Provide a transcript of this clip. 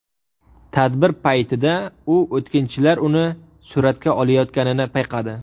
Tadbir paytida u o‘tkinchilar uni suratga olayotganini payqadi.